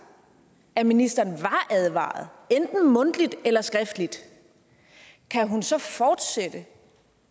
at ministeren var advaret enten mundtligt eller skriftligt kan hun så fortsætte